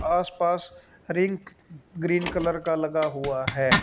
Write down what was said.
आस पास ring green colour का लगा हुआ है।